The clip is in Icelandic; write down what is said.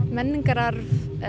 menningararf